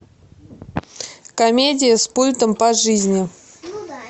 комедия с пультом по жизни